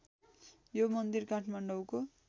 यो मन्दिर काठमाडौँको